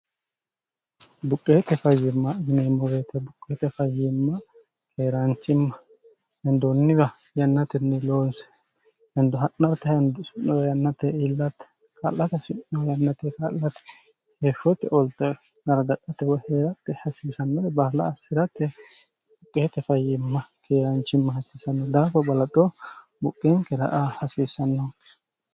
buqqeete fayyiimma yiineemmo woyiite buqqeete fayyiimma keeraanchimma hendoonniwa yannatinni loonse hendo ha'nat hinds'n yannate iillatte ka'late si'no yannate ka'late heefshote olnaragaatehee'ratte hasiisannore baala assi'ratte buqqeete fayyiimma keeraanchimma hasiissanno daafo balaxoo buqqeenkera aa hasiissanno